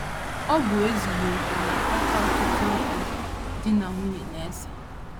Ọ bụ ezughị okè na - akpata ọtụtụ okwu di na nwunye na - ese.